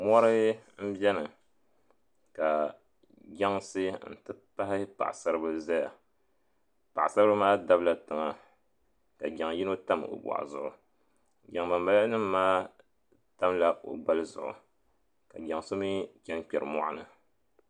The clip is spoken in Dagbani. Mori m biɛni ka jansi n ti pahi paɣasaribila n zaya paɣasaribila maa dabla tiŋa ka jaŋyino tabi o zuɣu jaŋ banbala nima maa tamla o gbali zuɣu ka jaŋso mii chɛna kpɛri moɣuni.